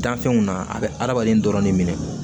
Danfɛnw na a bɛ adamaden dɔrɔn de minɛ